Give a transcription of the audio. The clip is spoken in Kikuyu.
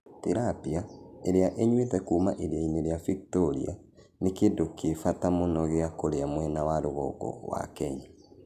Tilapia, ĩrĩa ĩnyuĩte kuuma iria-inĩ rĩa Victoria, nĩ kĩndũ kĩ bata mũno gĩa kũrĩa mwena wa rũgongo wa Kenya.